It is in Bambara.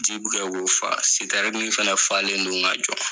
Ji bi ka o fa, sitɛrini fɛnɛ falen don ka jɔ.